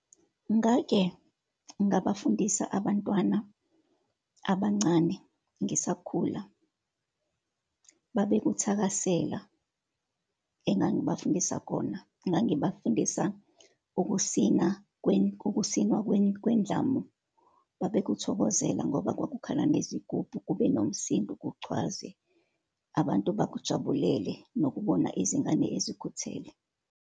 Ngake ngabafundisa abantwana abancane, ngisakhula. Babe kuthakasela engangibafundisa kona. Ngangibafundisa ukusina ukusina kwendlamu. Babe kuthokozela ngoba kwakukhala nezigubhu, kube nomsindo, kugcwaze, abantu bakujabulele nokubona izingane ezikhuthele.